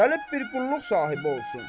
Gəlib bir qulluq sahibi olsun.